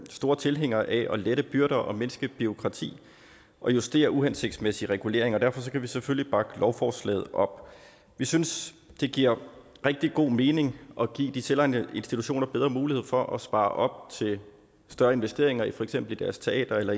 store tilhængere af at lette byrder og mindske bureaukrati og justere uhensigtsmæssig regulering og derfor kan vi selvfølgelig bakke lovforslaget op vi synes det giver rigtig god mening at give de selvejende institutioner bedre mulighed for at spare op til større investeringer i for eksempel deres teater eller